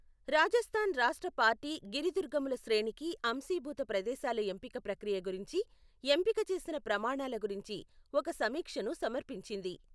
రాజస్థాన్ రాష్ట్ర పార్టీ గిరిదుర్గముల శ్రేణికి అంశీభూత ప్రదేశాల ఎంపిక ప్రక్రియ గురించి, ఎంపిక చేసిన ప్రమాణాల గురించి ఒక సమీక్షను సమర్పించింది.